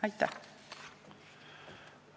Aitäh!